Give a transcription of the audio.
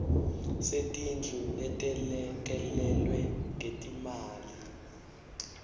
setindlu letelekelelwe ngetimali